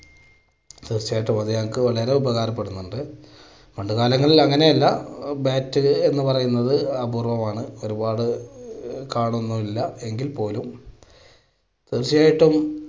തീർച്ചയായിട്ടും അത് ഞങ്ങൾക്ക് വളരെ ഉപകാരപ്പെടുന്നുണ്ട്. പണ്ട് കാലങ്ങളിൽ അങ്ങനെയല്ല bat എന്ന് പറയുന്നത് അപൂർവമാണ് ഒരുപാടു ഒന്നുമില്ല എങ്കിൽ പോലും തീർച്ചയായിട്ടും